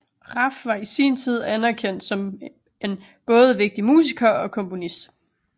Raff var i sin tid anererkendt som en både vigtig musiker og komponist